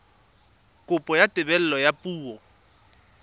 kopo ya thebolo ya poo